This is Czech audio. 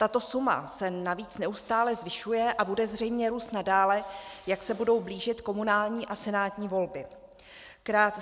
Tato suma se navíc neustále zvyšuje a bude zřejmě růst nadále, jak se budou blížit komunální a senátní volby.